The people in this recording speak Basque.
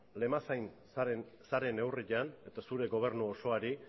lemazain zaren neurrian eta zure gobernu osoari